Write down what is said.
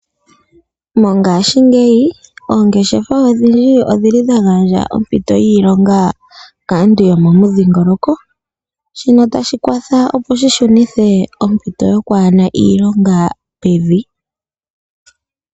Mongaashingeyi oongeshefa odhindji odhili dha gandja ompito yiilonga kaantu yo momudhiingoloko, shino tashi kwatha opo shi shunithe ompito yokwaana iilonga pevi.